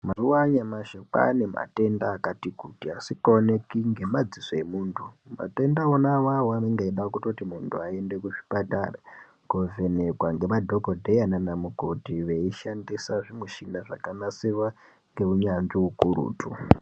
Mazuva anyamashi kwane matenda akati kuti asinga oneki ngema dziso emuntu matenda wona iwawo anenge echida kuti muntu ayende ku chipatara kovhenekwa nge madhokoteya nana mukoti vei shandisa michina zvaka nasirwa ngeu nyanzvi ukurutu.